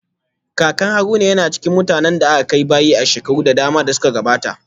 Kakan Haruna yana cikin mutanen da aka kai bayi a shekaru da dama da suka gabata